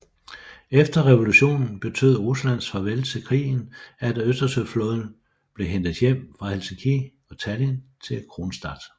Efter revolutionen betød Ruslands farvel til krigen at Østersøflåden blev hentet hjem fra Helsinki og Tallinn til Kronstadt